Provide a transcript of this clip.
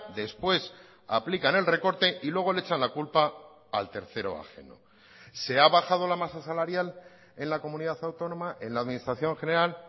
después aplican el recorte y luego le echan la culpa al tercero ajeno se ha bajado la masa salarial en la comunidad autónoma en la administración general